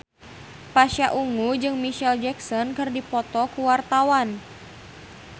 Pasha Ungu jeung Micheal Jackson keur dipoto ku wartawan